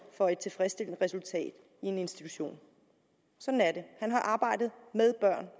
for et tilfredsstillende resultat i en institution sådan er det han har arbejdet